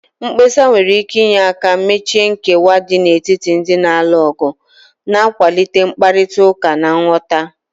Mkpesa nwere ike inye aka mechie nkewa dị n'etiti ndị na-alụ ọgụ, na-akwalite mkparịta ụka na nghọta